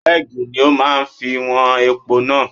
Kẹ́ẹ̀gì ni ó máa fi wọn epo náà.